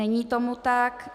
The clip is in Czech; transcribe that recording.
Není tomu tak.